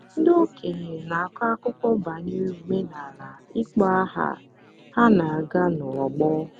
ndị okenye na-akọ akụkọ banyere omenala ịkpọ aha ha na-aga n’ọgbọ.